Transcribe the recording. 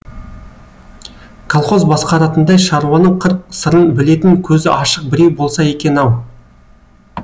колхоз басқаратындай шаруаның қыр сырын білетін көзі ашық біреу болса екен ау